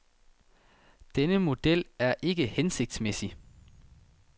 Denne model er ikke hensigtsmæssig.